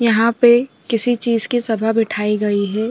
यहाँ पे किसी चीज़ की सभा बिठाई गई है।